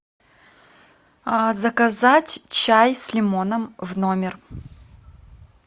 заказать чай с лимоном в номер